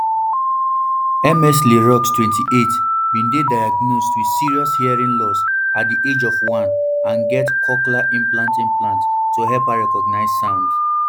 ms le roux twenty-eight bin dey diagnosed with serious hearing loss at di age of one and get cochlear implant implant to help her recognise sound